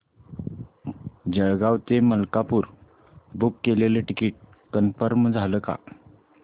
जळगाव ते मलकापुर बुक केलेलं ticket confirm झालं का